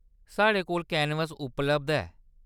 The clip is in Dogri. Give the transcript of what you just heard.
साढ़े कोल कैनवस उपलब्ध ऐ।